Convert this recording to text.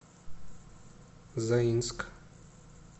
заинск